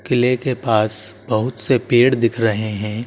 किले के पास बहुत से पेड़ दिख रहे हैं।